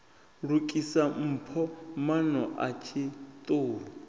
lukisa mpho maano a tshiṱuhu